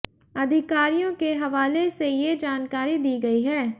अधिकारियों के हवाले से ये जानकारी दी गई है